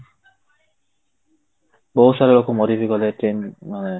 ବହୁତ ସାରା ଲୋକ ମରି ବି ଗଲେ